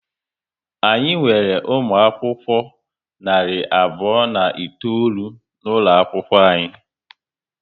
Anyị nwere umụ akwụkwọ narị abụọ na itoolu n'ụlọ akwụkwọ anyị